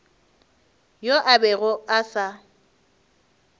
yoo a bego a sa